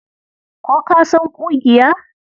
Ko ka san ƙugiya?